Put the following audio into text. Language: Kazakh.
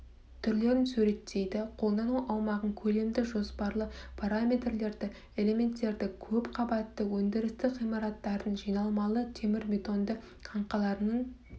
түрлерін суреттейді қолдану аумағын көлемді жоспарлы параметрлерді элементтерді көп қабатты өндірістік ғимараттардың жиналмалы темірбетонды қаңқаларының